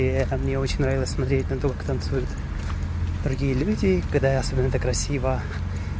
мне очень нравилось смотреть на то как танцуют другие люди когда особенно это красиво